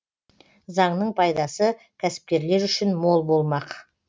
заңның пайдасы кәсіпкерлер үшін мол болмақ